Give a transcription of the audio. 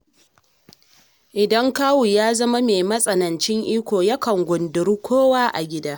Idan kawu ya zama mai matsanancin iko yakan gundiri kowa a dangi.